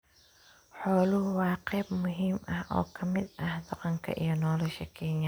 Xooluhu waa qayb muhiim ah oo ka mid ah dhaqanka iyo nolosha Kenya.